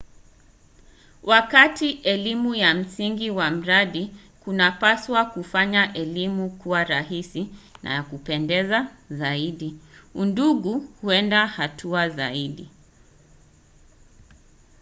wakati elimu ya msingi wa mradi kunapaswa kufanya elimu kuwa rahisi na ya kupendeza zaidi udungu huenda hatua zaidi